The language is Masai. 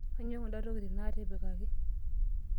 Kainyoo kunda tokitin naatipikaki?